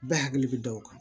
Bɛɛ hakili bɛ da o kan